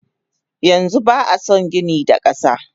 Yanxu ba ason gini da kasa.